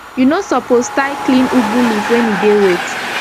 u no suppose tie clean ugu leaf when e dey wet